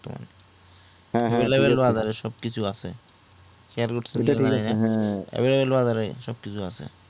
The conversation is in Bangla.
সবকিছু আছে খেয়াল করতেছেন